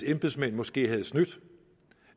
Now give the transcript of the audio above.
embedsmænd måske havde snydt